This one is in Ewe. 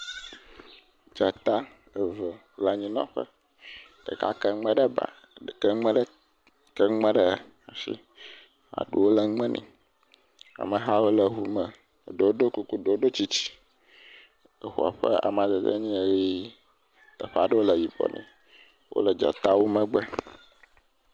Dzata eve le anyinɔƒe. Ɖeka ke enume ɖe ba, ke nume ɖe, ke nume ɖe asi. Aɖuwo le nume nɛ. Amehawo le eŋu me, ɖewo ɖo kuku, eɖewo ɖo tsitsi. Eŋua ƒe amadede nye ʋi teƒe aɖewo le yibɔ nɛ. Wole dzatawo megbe.